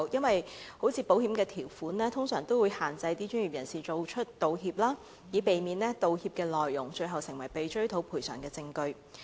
例如，保險條款通常會限制專業人士道歉，以避免道歉內容最後成為被追討賠償的證據。